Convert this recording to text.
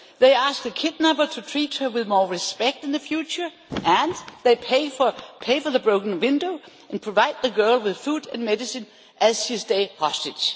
They asked the kidnapper to treat her with more respect in the future and they pay for the broken window and provide the girl with food and medicine as she stays hostage.